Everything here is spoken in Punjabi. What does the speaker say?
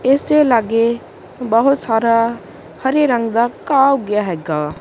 ਇਸੇ ਲਾਗੇ ਬਹੁਤ ਸਾਰਾ ਹਰੇ ਰੰਗ ਦਾ ਘਾਹ ਉਗਿਆ ਹੈਗਾ ਐ।